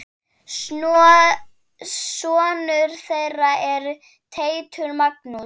Sonur þeirra er Teitur Magnús.